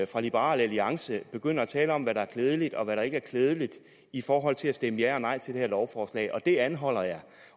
for liberal alliance begynder at tale om hvad der er klædeligt og hvad der ikke er klædeligt i forhold til at stemme ja eller nej til det her lovforslag det anholder jeg